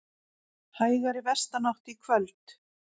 Hægari vestanátt í kvöld